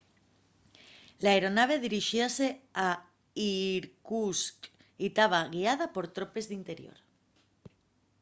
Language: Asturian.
l'aeronave dirixíase a irkutsk y taba guiada por tropes d'interior